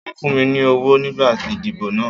Wọ́n fún mi ní owó nígbà ìdìbò náà.